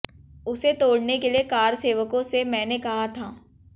उसे तोड़ने के लिए कारसेवकों से मैने कहा था